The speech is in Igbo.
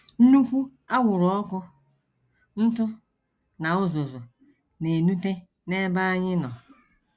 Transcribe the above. Nnukwu anwụrụ ọkụ, ntụ, na uzuzu na - enute n’ebe anyị nọ.